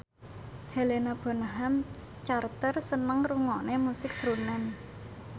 Helena Bonham Carter seneng ngrungokne musik srunen